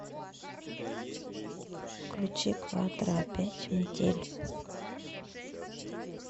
включи кватро опять метель